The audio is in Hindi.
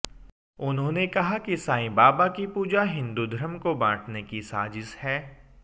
उन्होंने कहा कि साईं बाबा की पूजा हिंदू धर्म को बांटने की साजिश है